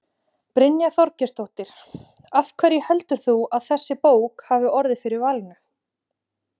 Brynja Þorgeirsdóttir: Af hverju heldur þú að þessi bók hafi orðið fyrir valinu?